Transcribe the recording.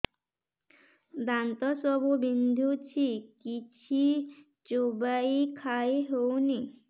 ଦାନ୍ତ ସବୁ ବିନ୍ଧୁଛି କିଛି ଚୋବେଇ ଖାଇ ହଉନି